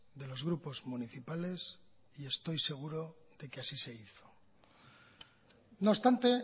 de los grupos municipales y estoy seguro de que así se hizo no obstante